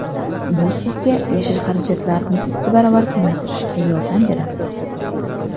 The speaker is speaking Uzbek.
Bu sizga yashash xarajatlarini ikki baravar kamaytirishga yordam beradi.